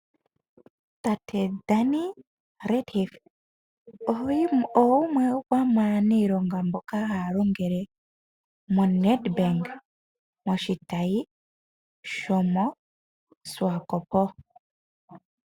Tate Danie Retief ogumwe gomaniilonga mboka ha ya longele moNedbank moshitayi shomo Swakopo.